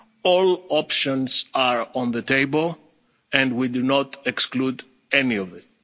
of vaccines. All options are on the table and we are not excluding